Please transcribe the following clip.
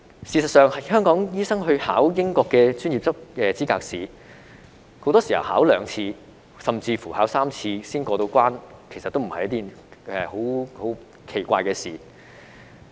事實上，香港醫生應考英國的專業資格試，很多時考兩次甚至3次才過關，也不是奇怪的事情。